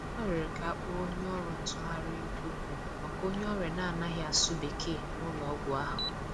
Ọ rịọrọ ka a kpoo onye ọrụ ntụgharị okwu maka onye ọrịa na-anaghị asụ Bekee n'ụlọ ọgwụ ahụ.